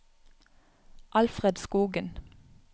Alfred Skogen